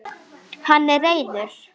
Hann er reiður.